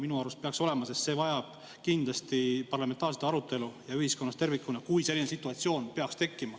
Minu arust peaks olema, sest see vajab kindlasti parlamentaarset arutelu ja ühiskonnas tervikuna, kui selline situatsioon peaks tekkima.